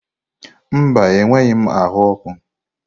Mba, enweghị m ahụ ọkụ.